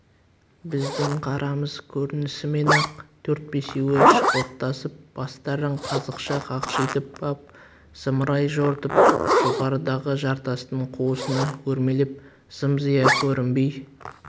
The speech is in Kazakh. біздің қарамыз көрінісімен-ақ төрт-бесеуі шықылықтасып бастарын қазықша қақшитып ап зымырай жортып жоғарыдағы жартастың қуысына өрмелеп зым-зия көрінбей